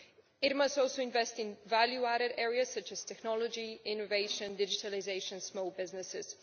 It must also invest in value added areas, such as technology, innovation, digitalisation and small businesses.